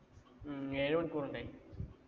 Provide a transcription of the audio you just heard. ഉം ഏഴ് മണിക്കൂര്‍ ഉണ്ടേ.